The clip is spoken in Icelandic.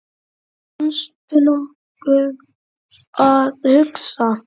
manstu nokkuð að hugsa